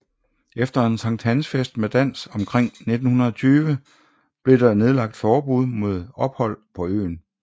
Efter en sankthansfest med dans omkring 1920 blev der nedlagt forbud mod ophold på øen